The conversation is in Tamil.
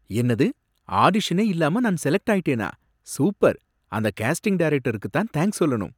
என்னது! ஆடிஷனே இல்லாம நான் செலக்ட் ஆயிட்டேனா, சூப்பர், அந்த கேஸ்டிங் டைரக்டருக்கு தான் தேங்கஸ் சொல்லணும்.